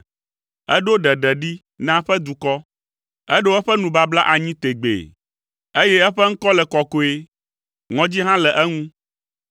Eɖo ɖeɖe ɖi na eƒe dukɔ, eɖo eƒe nubabla anyi tegbee, eye eƒe ŋkɔ le kɔkɔe; ŋɔdzi hã le eŋu.